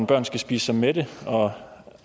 børn skal spise sig mætte